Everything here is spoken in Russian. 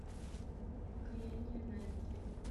покаяние найтли